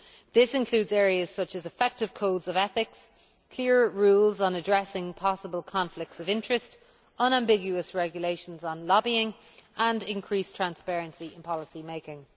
This includes areas such as effective codes of ethic, clear rules on addressing possible conflicts of interest, unambiguous regulations on lobbying and increased transparency in policymaking.